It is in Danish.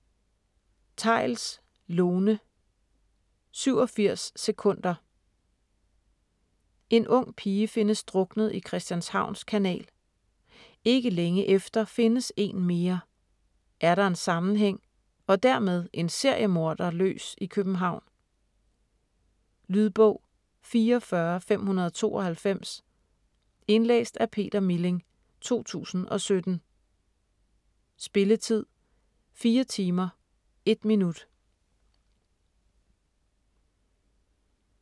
Theils, Lone: 87 sekunder En ung pige findes druknet i Christianshavns Kanal. Ikke længe efter findes en mere. Er der en sammenhæng - og dermed en seriemorder løs i København? Lydbog 44592 Indlæst af Peter Milling, 2017. Spilletid: 4 timer, 1 minut.